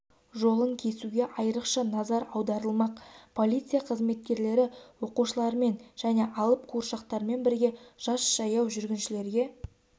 жолын кесуге айрықша назар аударылмақ полиция қызметкерлері оқушылармен және алып қуыршақтармен бірге жас жаяу жүргіншілерге